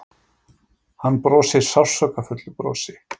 Hann brosir sársaukafullu brosi.